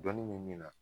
Dɔnni bɛ min na